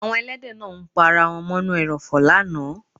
Àwọn èlẹ́dẹ̀ náà ń pa ara wọn mọ́ ínú èròfò lánàá.